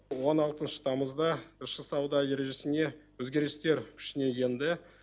он алтыншы тамызда ішкі сауда ережесіне өзгерістер күшіне енді